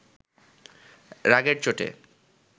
রাগের চোটে